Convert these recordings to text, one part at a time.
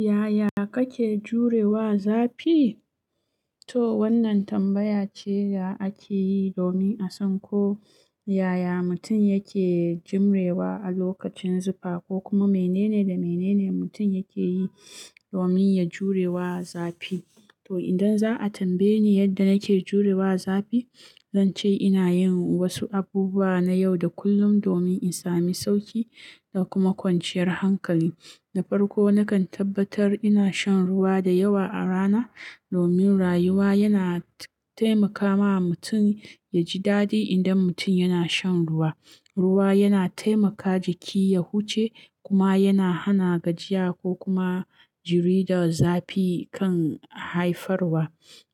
Yaya kake jure wa zafi? To wannan tambaya ce da ake yi domin a san ko yaya mutum yake jimrewa a lokacin zufa ko kuma menene da menene mutum yake yi domin ya jure wa zafi. To idan za a tambaye ni yadda nake jure wa zafi, zan ce ina yin wasu abubuwa na yau da kullum domin in sami sauƙi da kuma kwanciyar hankali. Na farko, nakan tabbatar ina shan ruwa da yawa a rana domin rayuwa yana taimaka wa mutum ya ji dadi idan mutum yana shan ruwa. Ruwa yana taimaka jiki ya huce kuma yana hana gajiya ko kuma jiri da zafi kan haifarwa.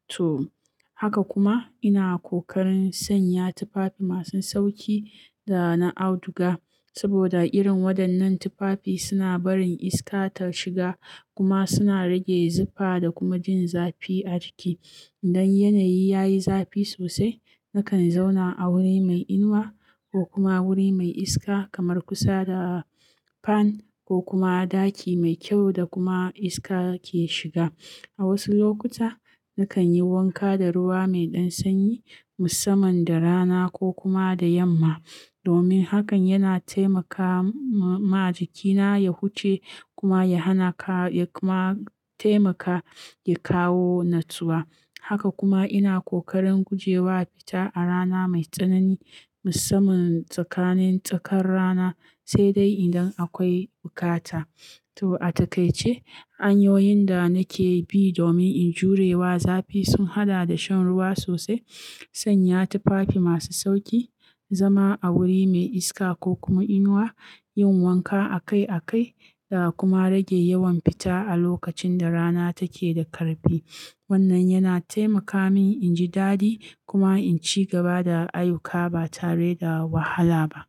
To haka kuma ina kokarin sanya tufafi masu sauƙi da na auduga saboda irin waɗannan tufafi suna barin iska ta shiga kuma suna rage zifa da kuma jin zafi a jiki. Idan yanayi ya yi zafi sosai, nakan zauna a wuri mai inuwa ko kuma wuri mai iska kamar kusa da fan ko kuma a ɗaki mai kyau da kuma iska ke shiga. A wasu lokuta, nakan yi wanka da ruwa mai ɗan sanyi musamman da rana ko kuma da yamma domin hakan yana taimaka ma jikina ya huce kuma ya hana ka, ya kuma taimaka ya kawo natsuwa. Haka kuma ina kokarin gujewa fita a rana mai tsanani musamman tsakanin tsakar rana, sai dai idan akwai bukata. To a takaice, hanyoyin da nake bi domin in jure wa zafi sun haɗa da shan ruwa sosai, sanya tufafi masu sauƙi, zama a wuri mai iska ko kuma inuwa, yin wanka akai akai da kuma rage yawan fita a lokacin da rana take da ƙarfi. Wannan yana taimaka min in ji dadi kuma in ci gaba da ayuka ba tare da wahala ba.